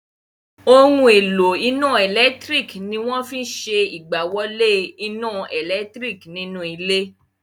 Ohun èlò iná ẹ̀lẹ́tírík ní wọ́n máa fí n ìgbéwolé iná ẹlẹtíríkì nínú ilé